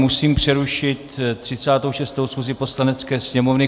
Musím přerušit 36. schůzi Poslanecké sněmovny.